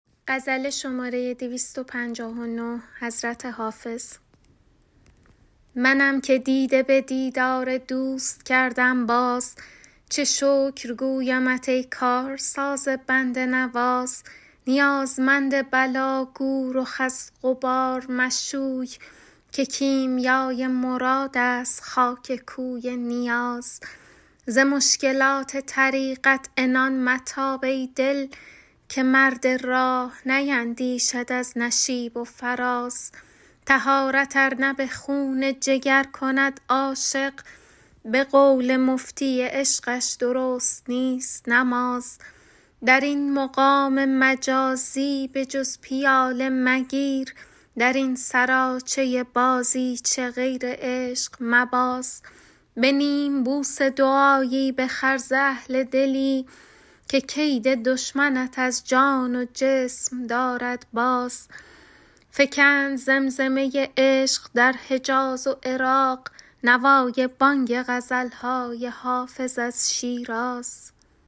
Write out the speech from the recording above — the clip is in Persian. منم که دیده به دیدار دوست کردم باز چه شکر گویمت ای کارساز بنده نواز نیازمند بلا گو رخ از غبار مشوی که کیمیای مراد است خاک کوی نیاز ز مشکلات طریقت عنان متاب ای دل که مرد راه نیندیشد از نشیب و فراز طهارت ار نه به خون جگر کند عاشق به قول مفتی عشقش درست نیست نماز در این مقام مجازی به جز پیاله مگیر در این سراچه بازیچه غیر عشق مباز به نیم بوسه دعایی بخر ز اهل دلی که کید دشمنت از جان و جسم دارد باز فکند زمزمه عشق در حجاز و عراق نوای بانگ غزل های حافظ از شیراز